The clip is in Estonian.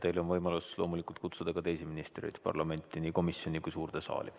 Teil on võimalus loomulikult kutsuda ka teisi ministreid parlamenti, nii komisjoni kui ka suurde saali.